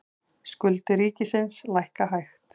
Skuldir ríkisins lækka hægt